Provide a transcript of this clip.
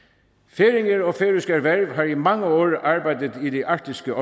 færinger og færøsk erhverv har i mange år arbejdet i det arktiske